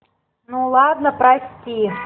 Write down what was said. ну ладно прости